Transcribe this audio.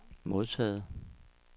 modtaget